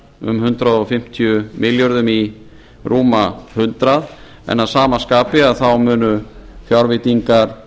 um hundrað fimmtíu milljörðum í rúma hundrað milljarða en að sama skapi munu fjárveitingar